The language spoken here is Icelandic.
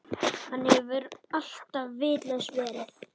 Hann hefur alltaf vitlaus verið.